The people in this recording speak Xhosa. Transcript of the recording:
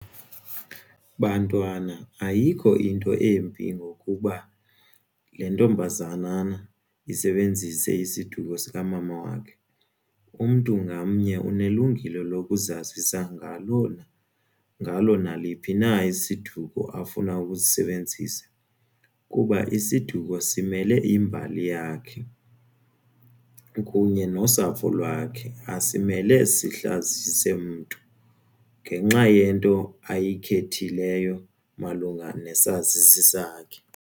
Bantwana ayikho into embi ngokuba le ntombazanana isebenzise isiduko sikamama wakhe, umntu ngamnye unelungelo lokuzazisa ngalona, ngalo naliphi na isiduko afuna ukusisebenzisa kuba isiduko simele imbali yakhe kunye nosapho lwakhe asimele sihlazise mntu ngenxa yento ayikhethileyo malunga nesazisi sakhe.